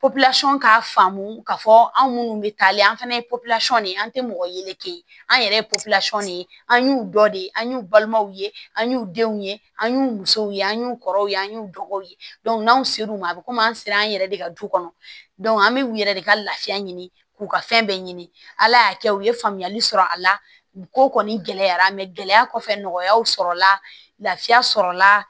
k'a faamu k'a fɔ anw minnu bɛ taale an fana ye de an tɛ mɔgɔ yeleke an yɛrɛ ye de an y'u dɔ de an y'u balimaw ye an y'u denw ye an y'u musow ye an y'u kɔrɔw ye an y'u dɔgɔw ye n'anw ser'u ma a bi komi an sera an yɛrɛ de ka du kɔnɔ an bɛ u yɛrɛ de ka lafiya ɲini k'u ka fɛn bɛɛ ɲini ala y'a kɛ u ye faamuyali sɔrɔ a la ko kɔni gɛlɛyara gɛlɛya kɔfɛ nɔgɔyaw sɔrɔla la lafiya sɔrɔ la